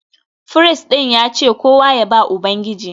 Firist ɗin ya ce kowa ya ba Ubangiji